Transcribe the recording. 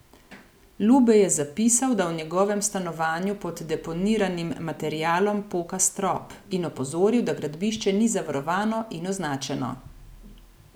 Lubej je zapisal, da v njegovem stanovanju pod deponiranim materialom poka strop, in opozoril, da gradbišče ni zavarovano in označeno.